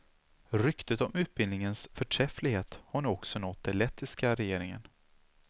Ryktet om utbildningens förträfflighet har nu också nått det lettiska regeringen.